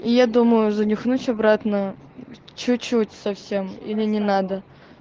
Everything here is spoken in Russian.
и я думаю за нюхнуть обратно чуть-чуть совсем или не надо